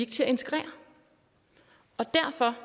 til at integrere og derfor